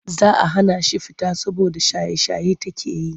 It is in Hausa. Za a hana shi fita saboda shaye-shaye take yi.